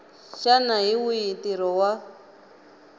xana hi wihi ntirho wa